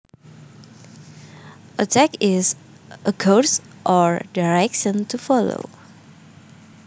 A tack is a course or direction to follow